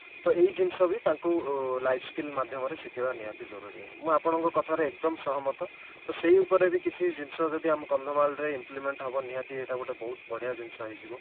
ତ ଏଇ ଜିନିଷ ବି ତାଙ୍କୁ life skill ମଧ୍ୟମରେ ଶିଖେଇବା ନିହାତି ଜରୁରୀ ମୁଁ ଆପଣଙ୍କ କଥାରେ ଏକଦମ୍ ସହମତ ତ ସେଇ ଉପରେ ବି କିଛି ଜିନିଷ ବି ଯଦି ଆମ କନ୍ଧମାଳରେ implement ହବ ନିହାତି ଏଇଟା ଗୋଟେ ବହୁତ ବଢିଆ ଜିନିଷ ହେଇଯିବ